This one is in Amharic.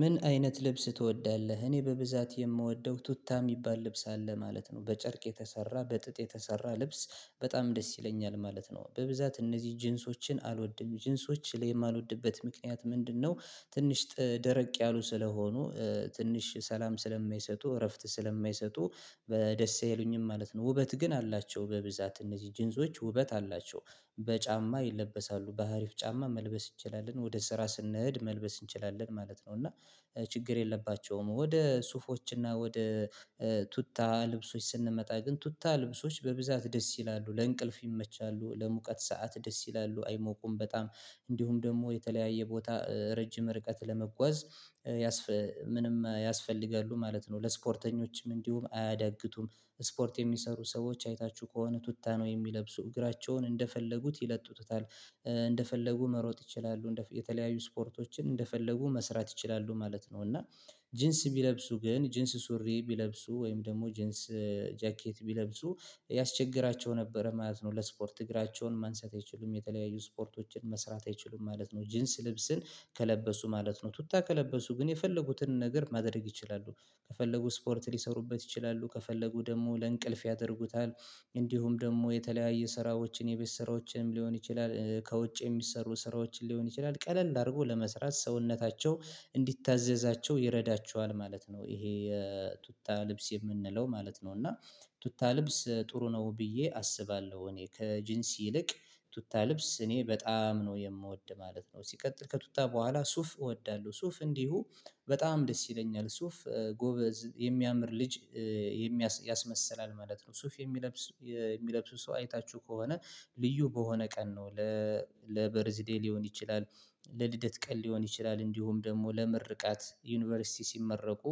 ምን አይነት ልብስ ትወዳለህ? እኔ በብዛት የምወደው ቱታ የሚባል ልብስ አለ ማለት ነው። በጨርቅ የተሰራ በጥጥ የተሰራ ልብስ በጣም ደስ ይለኛል ማለት ነው። በብዛት እነዚህ ጂንሶችን አልወድም። ጂንሶች ለማልወድበት ምክንያት ምንድነው ትንሽ ደረቅ ያሉ ስለሆኑ ትንሽ ሰላም ስለማይሰጡ እረፍት ስለማይሰጡ በደስ አይሉኝም ማለት ነው። ውበት ግን አላቸው በብዛት እነዚህ ጂንሶች ውበት አላቸው። በጫማ ይለበሳሉ። በአሪፍ ጫማ መልበስ እንችላለን። ወደ ስራ ስንሄድ መልበስ እንችላለን ማለት ነው። እና ችግር የለባቸውም። ወደ ሱፎች እና ወደ ቱታ ልብሶች ስንመጣ ግን ቱታ ልብሶች በብዛት ደስ ይላሉ። ለእንቅልፍ ይመቻሉ ለሙቀት ሰዓት ደስ ይላሉ። አይሞቁም በጣም። እንዲሁም ደግሞ የተለያየ ቦታ ረጅም ርቀት ለመጓዝ ምንም ያስፈልጋሉ ማለት ነው። ለስፖርተኞችም እንዲሁም አያዳግቱም ስፖርት የሚሰሩ ሰዎች አይታችሁ ከሆነ ቱታ ነው የሚለብሱ። እግራቸውን እንደፈለጉት ይለጡታል። እንደፈለጉ መሮጥ ይችላሉ። የተለያዩ ስፖርቶችን እንደፈለጉ መስራት ይችላሉ ማለት ነው። እና ጂንስ ቢለብሱ ግን ጂንስ ሱሪ ቢለብሱ ወይም ደግሞ ጂንስ ጃኬት ቢለብሱ ያስቸግራቸው ነበረ ማለት ነው። ለስፖርት እግራቸውን ማንሳት አይችሉም። የተለያዩ ስፖርቶችን መስራት አይችሉም ማለት ነው። ጂንስ ልብስን ከለበሱ ማለት ነው። ቱታ ከለበሱ ግን የፈለጉትን ነገር ማድረግ ይችላሉ። ከፈለጉ ስፖርት ሊሰሩበት ይችላሉ፤ ከፈለጉ ደግሞ ለእንቅልፍ ያደርጉታል። እንዲሁም ደግሞ የተለያየ ስራዎችን የቤት ስራዎችንም ሊሆን ይችላል ከውጭ የሚሰሩ ስራዎችን ሊሆን ይችላል ቀለል አድርጎ ለመስራት ሰውነታቸው እንዲታዘዛቸው ይረዳቸዋል ማለት ነው። ይሄ የቱታ ልብስ የምንለው ማለት ነው። እና ቱታ ልብስ ጥሩ ነው ብዬ አስባለሁ እኔ። ከጂንስ ይልቅ ቱታ ልብስ እኔ በጣም ነው የምወድ ማለት ነው። ሲቀጥል ከቱታ በኋላ ሱፍ እወዳለሁ። ሱፍ እንዲሁ በጣም ደስ ይለኛል። ሱፍ ጎበዝ የሚያምር ልጅ ያስመሰላል ማለት ነው። ሱፍ የሚለብስ የሚለብሱ ሰው አይታችሁ ከሆነ ልዩ በሆነ ቀን ነው። ለበርዝዴይ ሊሆን ይችላል። ለልደት ቀን ሊሆን ይችላል። እንዲሁም ደግሞ ለመርቃት ዩኒቨርሲቲ ሲመረቁ